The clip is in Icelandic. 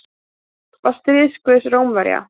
Mars var stríðsguð Rómverja.